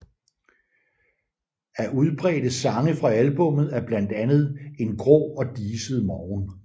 Af udbredte sange fra albummet er blandt andet En grå og diset morgen